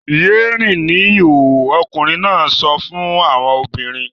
Yé rìn ní ìhòhò! ọkùnrin náà sọ fún àwọn obìnrin.